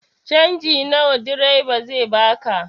Canji nawa direba zai baka?